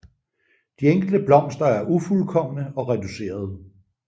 De enkelte blomster er ufuldkomne og reducerede